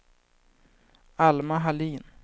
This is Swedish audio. Alma Hallin